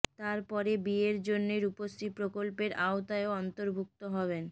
তারা পরে বিয়ের জন্যে রূপশ্রী প্রকল্পের আওতায়ও অন্তর্ভুক্ত হবেন